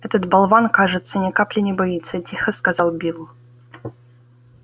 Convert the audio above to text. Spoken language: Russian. этот болван кажется ни капли не боится тихо сказал билл